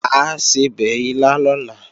Mà á sebẹ̀ ilá lọ́la